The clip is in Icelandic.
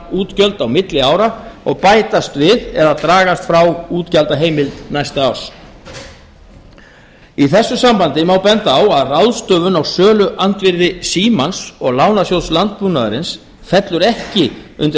umframútgjöld á milli ára og bætast við eða dragast frá útgjaldaheimild næsta árs í þessu sambandi má benda á að ráðstöfun á söluandvirðis símans og lánasjóðs landbúnaðarins fellur ekki undir